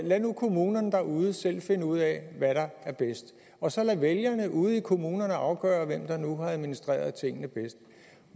lade kommunerne derude selv finde ud af hvad der er bedst og så lade vælgerne ude i kommunerne afgøre hvem der nu har administreret tingene bedst